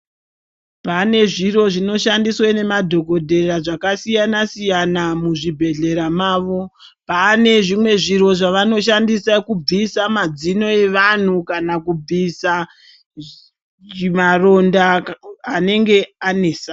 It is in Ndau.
Pane zviro zvinoshandiswe nemadhokodhera zvakasiyana -siyana muzvibhedhlera mavo. Panezvimwe zviro zvavanoshandisa kubvisa madzino evantu kana kubvisa maronda anenge anesa.